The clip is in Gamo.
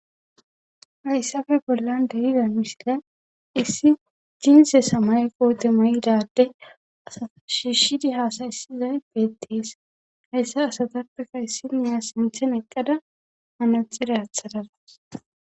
hayssafe bollan de7idan misila issi jiinse samaye koote mayida adde asa shishidi haasayissizay betees hayssa asatappeka issiniya sinthen eqqada manaxire athadadus